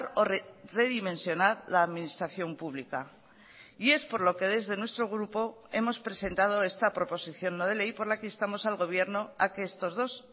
o redimensionar la administración pública y es por lo que desde nuestro grupo hemos presentado esta proposición no de ley por la que instamos al gobierno a que estos dos